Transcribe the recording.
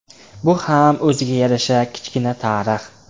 Bu ham o‘ziga yarasha kichkina tarix.